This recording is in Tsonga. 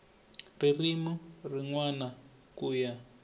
ririmi rin wana ku ya